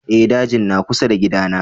Eh, dajin na kusa da kida na